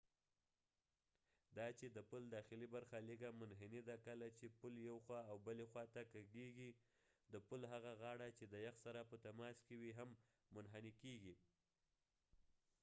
دا چې د پل داخلی برخه لږه منحنی ده کله چې پول یو خوا او بلی خوا ته کږیګی د پول هغه غاړه چې د یخ سره په تماس کې وي هم منحنی کېږی